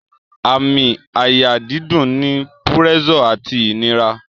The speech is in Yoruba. Àmì àyà dídùn ni púrẹ́sọ̀ àti ìnira